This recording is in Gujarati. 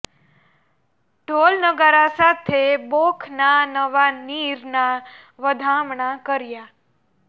ઢોલ નગારા સાથે બોખ ના નવા નીર ના વધામણા કર્યા